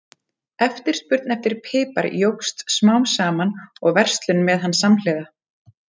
Eftirspurn eftir pipar jókst smám saman og verslun með hann samhliða.